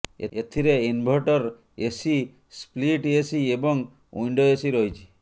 ଏଥିରେ inverter AC split AC ଏବଂ window AC ରହିଛି